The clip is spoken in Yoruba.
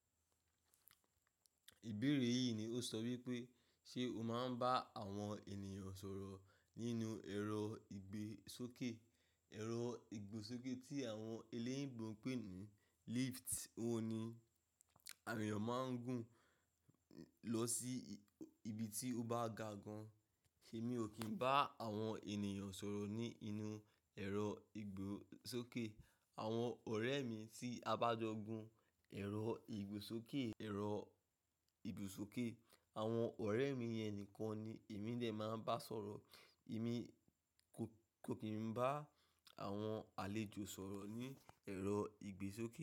Ìbéèrè yìí ni ó sọ wípé ṣe o máa ń bá àwọn ènìyàn sọ̀rọ̀ nínú ẹ̀rọ ìgbésókè? Ẹ̀rọ ìgbésókè tí àwọn eléyinbo ń pè ní lift. Ó ni awọn èèyàn máa ń gùn lọ sí ibi tí o bá gà gan. Èmi ò kí ń bá àwọn ènìyàn sọ̀rọ̀ ní inú ẹ̀rọ ìgbésókè. Àwọn ọ̀rẹ́ mi tí a bá jọ gun ẹ̀rọ ìgbésókè, ẹ̀rọ ìgbésókè àwọn ọ̀rẹ́ mi yẹn nìkan ni èmi dẹ̀ máa ń bá sọ̀rọ̀. Èmi kò kí ń bá àwọn àlejò sọ̀rọ̀ ní ẹ̀rọ ìgbésókè.